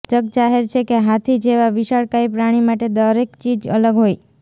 જગજાહેર છે કે હાથી જેવા વિશાળકાય પ્રાણી માટે દરેક ચીજ અલગ હોય